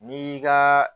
Ni ka